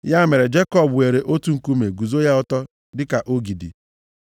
Ya mere, Jekọb weere otu nkume guzo ya ọtọ dịka ogidi.